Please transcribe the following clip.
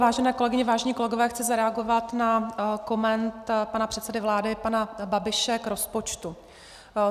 Vážené kolegyně, vážení kolegové, chci zareagovat na komentář pana předsedy vlády pana Babiše k rozpočtu.